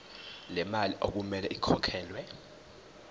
lemali okumele ikhokhelwe